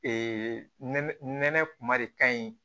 nɛnɛ nɛnɛ kuma de ka ɲi